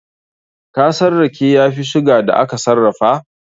Kasan rake ya fi sugar da aka sarrafa?